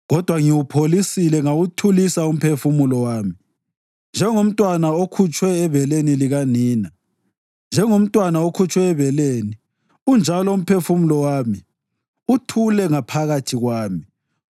Kodwa ngiwupholisile ngawuthulisa umphefumulo wami; njengomntwana okhutshwe ebeleni likanina, njengomntwana okhutshwe ebeleni unjalo umphefumulo wami uthule ngaphakathi kwami.